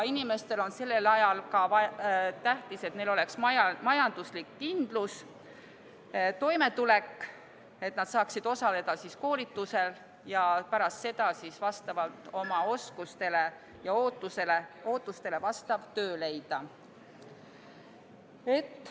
Inimestele on sellel ajal ka tähtis, et neile oleks majanduslik kindlus, toimetulek ning et nad saaksid osaleda koolitusel ja pärast seda oma oskustele ja ootustele vastava töö leida.